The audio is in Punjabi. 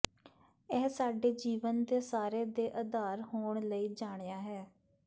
ਇਹ ਸਾਡੇ ਜੀਵਨ ਦੇ ਸਾਰੇ ਦੇ ਆਧਾਰ ਹੋਣ ਲਈ ਜਾਣਿਆ ਹੈ